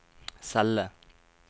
celle